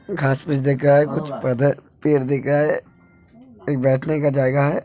घास में दिख रहा है कुछ पेड़ दिख रहा है एक बैठने का जगह है।